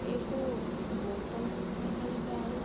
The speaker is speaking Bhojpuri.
एगो बॉटल दिख रहल बाड़ू।